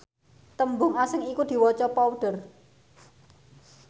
tembung asing iku diwaca powder